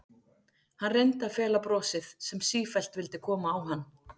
Hann reyndi að fela brosið sem sífellt vildi koma á hann.